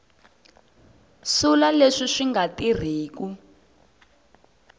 sula leswi swi nga tirhiku